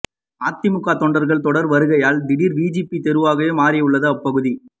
அதிமுக தொண்டர்கள் தொடர் வருகையால் திடீர் விஐபி தெருவாகமாறியுள்ளது அப்பகுதி